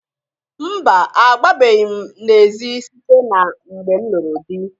Mba! Agbabeghi m n'ezi site na mgbe m lụrụ dị.